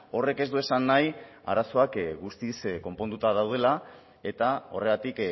horrek ez du esan nahi arazoak guztiz konponduta daudela eta horregatik